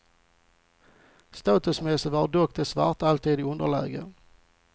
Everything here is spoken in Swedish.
Statusmässigt var dock de svarta alltid i underläge.